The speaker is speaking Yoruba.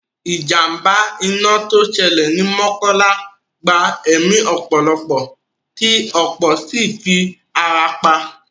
Ìjàmbá iná tó ṣẹlẹ̀ ni Mọ́kọ́lá gba ẹ̀mí ọ̀pọ̀lọpọ̀ tí ọ̀pọ̀ sì fi ara pa